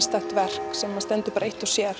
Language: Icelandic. stakt verk sem stendur eitt og sér